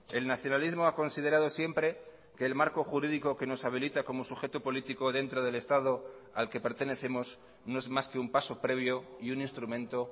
el nacionalismo ha considerado siempre que el marco jurídico que nos habilita como sujeto político dentro del estado al que pertenecemos no es más que un paso previo y un instrumento